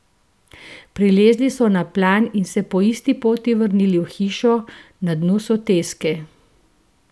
Prilezli so na plan in se po isti poti vrnili v hišo na dnu soteske.